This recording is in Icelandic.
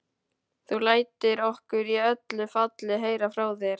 Þú lætur okkur í öllu falli heyra frá þér.